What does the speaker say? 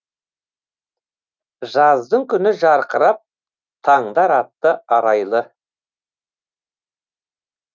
жаздың күні жарқырап таңдар атты арайлы